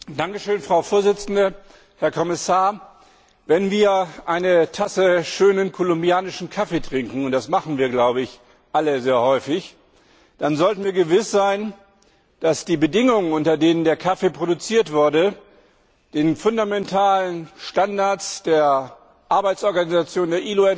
Frau Präsidentin, Herr Kommissar, Wenn wir eine Tasse schönen kolumbianischen Kaffee trinken und das tun wir, glaube ich, alle sehr häufig dann sollten wir gewiss sein, dass die Bedingungen, unter denen der Kaffee produziert wurde, den fundamentalen Standards der Arbeitsorganisation ILO und